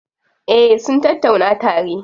Eh sun tattauna tare.